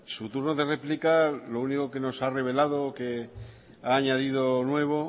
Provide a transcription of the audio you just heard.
su turno de réplica lo único que nos ha revelado que ha añadido nuevo